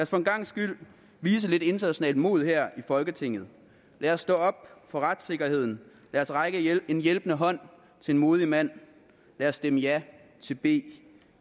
for en gangs skyld vise lidt internationalt mod her i folketinget lad os stå op for retssikkerheden lad os række en hjælpende hånd til en modig mand lad os stemme ja til b